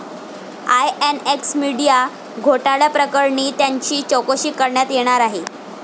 INX media घोटाळ्याप्रकरणी त्यांची चौकशी करण्यात येणार आहे.